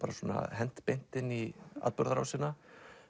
hent beint inn í atburðarásina